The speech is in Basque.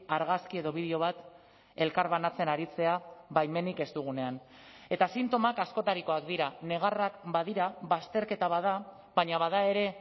argazki edo bideo bat elkarbanatzen aritzea baimenik ez dugunean eta sintomak askotarikoak dira negarrak badira bazterketa bat da baina bada ere